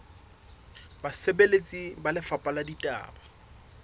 basebeletsi ba lefapha la ditaba